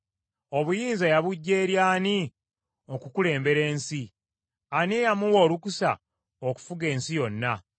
Obuyinza yabuggya eri ani okukulembera ensi? Ani eyamuwa olukusa okufuga ensi yonna?